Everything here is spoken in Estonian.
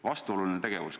Vastuoluline tegevus.